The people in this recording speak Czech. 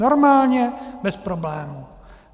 Normálně, bez problému.